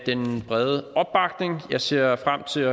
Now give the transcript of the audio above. den brede opbakning jeg ser frem til